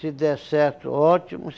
Se der certo, ótimo.